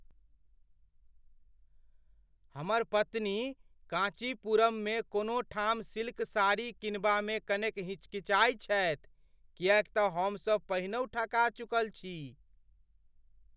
हमर पत्नी काँचीपुरममे कोनो ठाम सिल्क साड़ी किनबामे कनेक हिचकिचाइत छथि किएक तँ हमसब पहिनहुँ ठका चुकल छी।